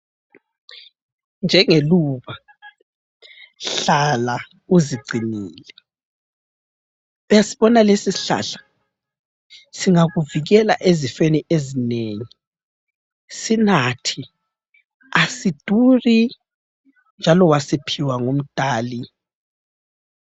Njengeluba hlala uzingcinile uyasibona lesi sihlahla singakuvikela ezifeni ezinengi sinathe asiduri njalo wasiphiwa nguMdali.